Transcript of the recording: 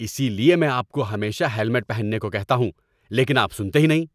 اسی لیے میں آپ کو ہمیشہ ہیلمٹ پہننے کو کہتا ہوں، لیکن آپ سنتے ہی نہیں۔